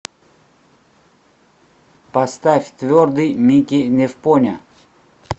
поставь твердый мики невпоня